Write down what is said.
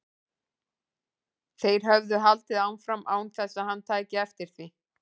Þeir höfðu haldið áfram án þess að hann tæki eftir því.